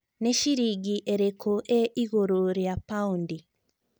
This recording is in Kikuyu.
nĩ ciringi ĩrikũ ĩ ĩgũrũ rĩa paũndi